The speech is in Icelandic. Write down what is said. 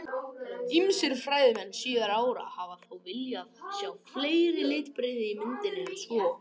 Ýmsir fræðimenn síðari ára hafa þó viljað sjá fleiri litbrigði í myndinni en svo.